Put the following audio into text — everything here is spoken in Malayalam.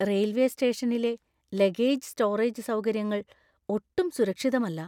റെയിൽവേ സ്റ്റേഷനിലെ ലഗേജ് സ്റ്റോറേജ് സൗകര്യങ്ങൾ ഒട്ടും സുരക്ഷിതമല്ല.